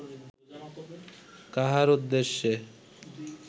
কাহার উদ্দেশ্যে